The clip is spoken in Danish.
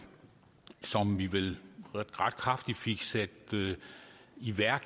som vi vel ret kraftigt fik sat i værk